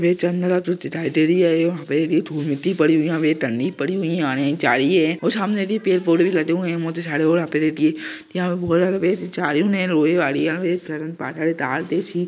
ये चन्द्र आकृति दिखाई दे रही हे पड़ी हुए है और आने एक जड़ी हैसामने पेड़ पौधे भी लगे हुए हे जड़ी भी दिखाई दे रहा है --